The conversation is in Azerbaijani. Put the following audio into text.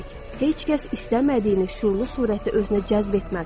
Heç kəs istəmədiyini şüurlu surətdə özünə cəzb etməz.